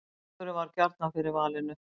Kjúklingur varð gjarnan fyrir valinu